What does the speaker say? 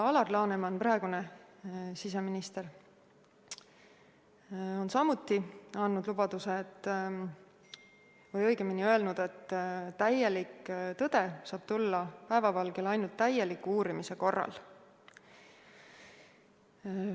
Alar Laneman, praegune siseminister, on samuti öelnud, et täielik tõde saab tulla päevavalgele ainult täieliku uurimise korral.